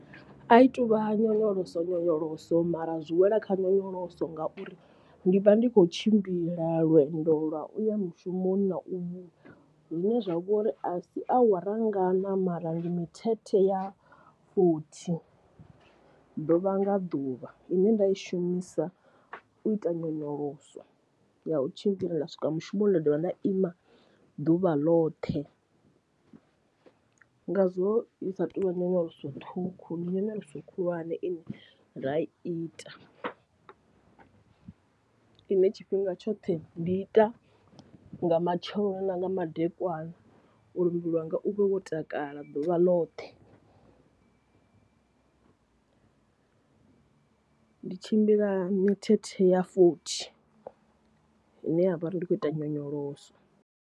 A i tuvha nyonyoloso nyonyoloso mara a zwi wela kha nyonyoloso ngauri ndi vha ndi khou tshimbila lwendo lwa uya mushumoni na u vhuya, zwine zwa vhori a si awara ngana mara ndi mithethe ya fothi ḓuvha nga ḓuvha ine nda i shumisa u ita nyonyoloso ya u tshimbila nda swika mushumoni nda dovha nda ima ḓuvha loṱhe. Ngazwo i sa tu vha nyonyoloso ṱhukhu ndi nyonyoloso khulwane ine nda i ita ine tshifhinga tshoṱhe ndi ita nga matsheloni na nga madekwana uri muvhili wanga u vhe wo takala ḓuvha ḽoṱhe, ndi tshimbila mithethe ya fothi ine ya vha uri ndi khou ita nyonyoloso.